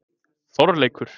Þorleikur